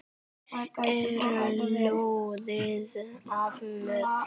er loðið af mjöll.